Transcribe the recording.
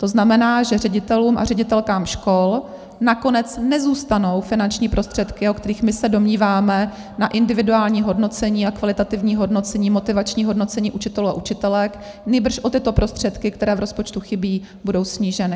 To znamená, že ředitelům a ředitelkám škol nakonec nezůstanou finanční prostředky, o kterých my se domníváme, na individuální hodnocení a kvalitativní hodnocení, motivační hodnocení učitelů a učitelek, nýbrž o tyto prostředky, které v rozpočtu chybí, budou sníženy.